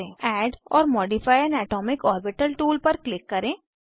add or modify an atomic orbital tool पर click करें